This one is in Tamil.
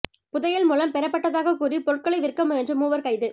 புதையல் மூலம் பெறப்பட்டதாகக் கூறி பொருட்களை விற்க முயன்ற மூவர் கைது